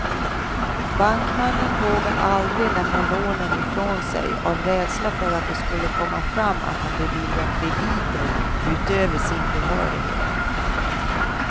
Bankmannen vågade aldrig lämna lånen ifrån sig av rädsla för att det skulle komma fram att han beviljat krediter utöver sin behörighet.